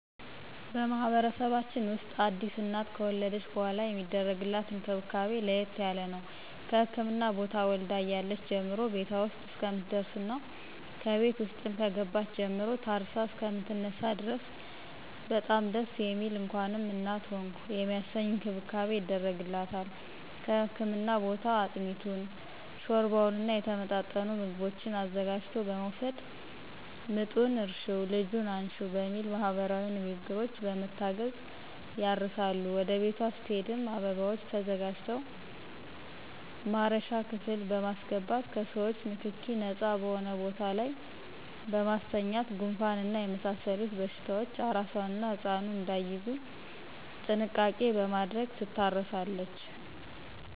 በማህበረሰባችን ውስጥ አዲስ እናት ከወለደች በሗላ የሚደረግላት እንክብካቤ ለየት ያለ ነው። ከህክምና ቦታ ወልዳ እያለች ጀምሮ ቤቷ ውስጥ እስከምትደርስና ከቤት ውስጥም ከገባች ጀምሮ ታርሳ እሰከምትነሳ ድረስ በጣም ደስ የሚል እንኳንም እናት ሆንሁ የሚያሰኝ እንክብካቤ ይደረግላታል ከህክምና ቦታ አጥሚቱን: ሾርባውና የተመጣጠኑ ምግቦችን አዘጋጅቶ በመወሰድ ምጡን እርሽው ልጁን አንሽው በሚል ማህበረሰባዊ ንግግሮች በመታገዝ ያርሳሉ ወደ ቤቷ ስትሄድም አበባዎች ተዘጋጅተው ማረሻ ክፍል በማሰገባት ከሰዎቾ ንክኪ ነጻ በሆነ ቦታ ላይ በማስተኛት ጉንፋንና የመሳሰሉት በሽታዎች አራሷና ህጻኑ እዳይያዙ ጥንቃቄ በማድረግ ትታረሳለች።